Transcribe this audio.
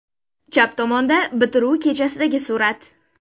Chap tomonda bitiruv kechasidagi surat.